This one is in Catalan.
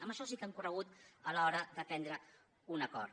en això sí que han corregut a l’hora de prendre un acord